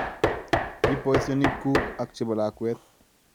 Ib boisionik ngyuk ak chebo lakwet